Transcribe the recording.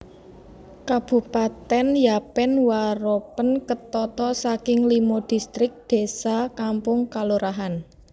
Kabupatèn Yapen Waropen ketata saking limo distrik désa/kampung/kalurahan